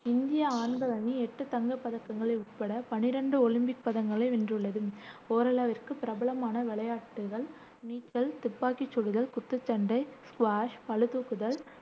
இந்திய ஆண்கள் அணி எட்டு தங்கப் பதக்கங்கள் உட்பட பன்னிரண்டு ஒலிம்பிக் பதக்கங்களை வென்றுள்ளது. ஓரளவிற்கு ஓரளவு பிரபலமான விளையாட்டுகள் நீச்சல், துப்பாக்கி சுடுதல், குத்துச்சண்டை, ஸ்குவாஷ், பளு தூக்குதல்,